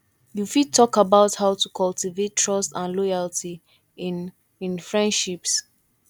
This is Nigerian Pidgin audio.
you fit talk about how to cultivate trust and loyalty in in friendships